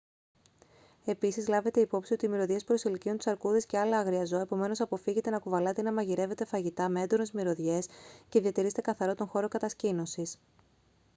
επίσης λάβετε υπόψη ότι οι μυρωδιές προσελκύουν τις αρκούδες και άλλα άγρια ζώα επομένως αποφύγετε να κουβαλάτε ή να μαγειρεύετε φαγητά με έντονες μυρωδιές και διατηρείστε καθαρό τον χώρο κατασκήνωσης